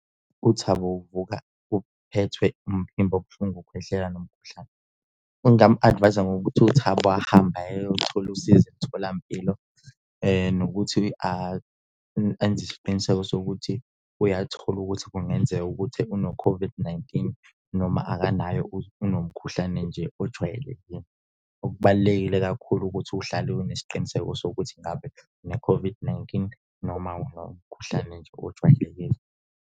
UThabo uvuka uphethwe umphimbo obuhlungu ukukhwehlela nomkhuhlane. Ngingamu-advise-a ngokuthi uThobo ahambe ayothola usizo emtholampilo nokuthi enza isiqiniseko sokuthi uyathola ukuthi kungenzeka ukuthi uno-COVID-19 noma akanayo unomkhuhlane nje ojwayelekile. Okubalulekile kakhulu ukuthi uhlale unesiqiniseko sokuthi ngabe une-COVID-19 noma unomkhuhlane nje ojwayelekile.